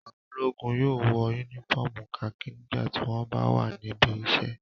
Àwọn ológun yóò wọ únífọ́ọ́mù kakí nígbà tí wọ́n bá wà níbi iṣẹ́.